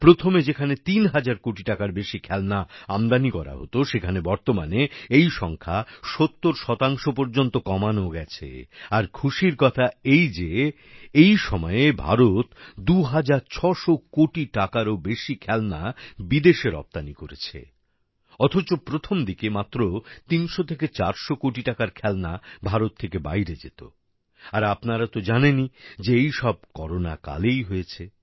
প্রথমে যেখানে ৩০০০ কোটি টাকার বেশি খেলনা আমদানি করা হতো সেখানে বর্তমানে এই সংখ্যা ৭০ পর্যন্ত কমানো গেছে আর খুশির কথা এই যে এই সময়ে ভারত ২৬০০ কোটি টাকারও বেশি খেলনা বিদেশে রপ্তানি করেছে অথচ প্রথম দিকে মাত্র ৩০০ থেকে ৪০০ কোটি টাকার খেলনা ভারত থেকে বাইরে যেত আর আপনারা তো জানেনই যে এইসব করোনা কালেই হয়েছে